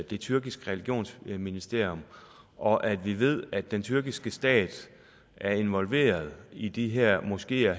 det tyrkiske religionsministerium og at vi ved at den tyrkiske stat er involveret i de her moskeer